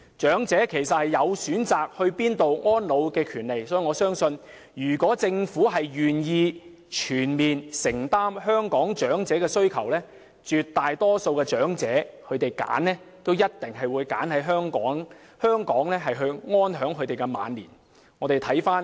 長者其實有權選擇去哪裏安老，我相信如果政府願意全面承擔香港長者的需要，絕大多數的長者也會選擇留在香港安享晚年。